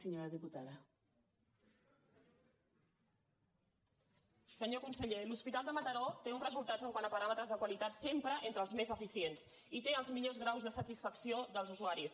senyor conseller l’hospital de mataró té uns resultats quant a paràmetres de qualitat sempre entre els més eficients i té els millors graus de satisfacció dels usuaris